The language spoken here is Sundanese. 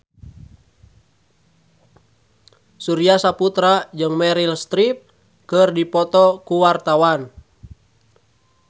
Surya Saputra jeung Meryl Streep keur dipoto ku wartawan